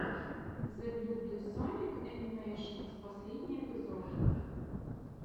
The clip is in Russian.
зэблюбле соник энимэйшенс последний эпизод